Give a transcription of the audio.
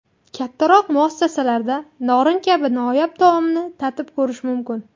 Kattaroq muassasalarda norin kabi noyob taomni tatib ko‘rish mumkin.